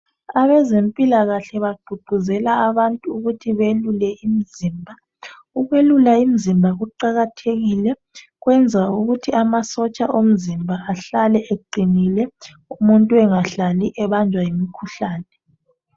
Abezempilakahle bagqugquzela abantu ukuthi beyelule imizimba. Lokhu kuqakathekile ngoba kuqinisa amasotsha omzimba, umuntu engahlali ebanjwa yimikhuhlane.